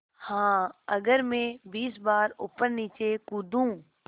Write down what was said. हाँ अगर मैं बीस बार ऊपरनीचे कूदूँ